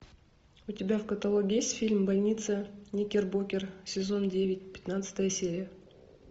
у тебя в каталоге есть фильм больница никербокер сезон девять пятнадцатая серия